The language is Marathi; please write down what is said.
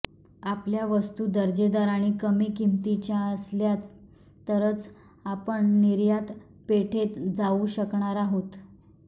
आपल्या वस्तू दर्जेदार आणि कमी किमतीच्या असल्या तरच आपण निर्यात पेठेत जाऊ शकणार आहोत